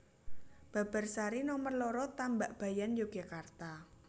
Babarsari Nomer loro Tambakbayan Yogyakarta